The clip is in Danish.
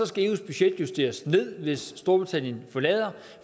skal eus budget justeres ned hvis storbritannien forlader